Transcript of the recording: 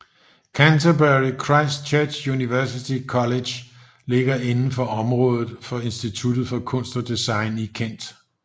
Canterbury Christ Church University College ligger inden for området for Instituttet for Kunst og Design i Kent